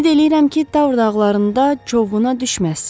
Ümid eləyirəm ki, Tavr dağlarında çovğuna düşməzsiz.